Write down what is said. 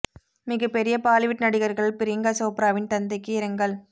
மிக பெரிய பாலிவுட் நடிகர்கள் பிரியங்கா சோப்ராவின் தந்தைக்கு இரங்கல்